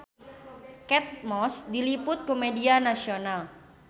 Kate Moss diliput ku media nasional